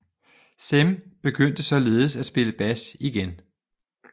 Cem begyndte således at spille bas igen